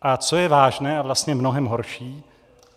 A co je vážné a vlastně mnohem horší?